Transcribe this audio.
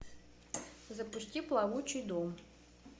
запусти плавучий дом